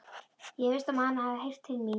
Ég efast um, að hann hafi heyrt til mín.